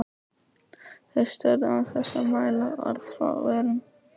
Þau störðu án þess að mæla orð frá vörum.